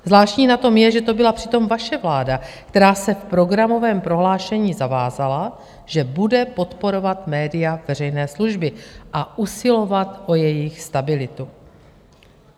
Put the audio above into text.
Zvláštní na tom je, že to byla přitom vaše vláda, která se v programovém prohlášení zavázala, že bude podporovat média veřejné služby a usilovat o jejich stabilitu.